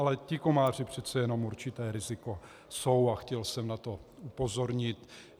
Ale ti komáři přece jenom určité riziko jsou a chtěl jsem na to upozornit.